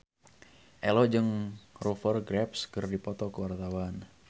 Ello jeung Rupert Graves keur dipoto ku wartawan